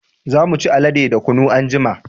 Za mu ci alale da kunu anjima